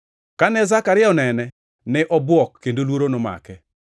Kane Zekaria onene, ne obwok kendo luoro nomake.